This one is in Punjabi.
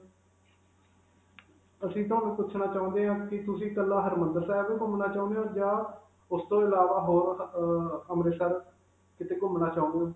ਅਸੀਂ ਤੁਹਾਨੂੰ ਪੁਛਣਾ ਚਾਹੁੰਦੇ ਹਾਂ ਕਿ ਤੁਸੀਂ ਕੱਲਾ ਹਰਿਮੰਦਰ ਸਾਹਿਬ ਹੀ ਘੁਮਣਾ ਚਾਹੁੰਦੇ ਹੋ, ਜਾਂ ਉਸ ਤੋਂ ਅਲਾਵਾ ਹੋਰ ਅਅ ਅੰਮ੍ਰਿਤਸਰ ਕਿਤੇ ਘੁਮਣਾ ਚਾਹੁੰਦੇ ਹੋ?